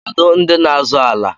Kedụ ndị n'azọ ala?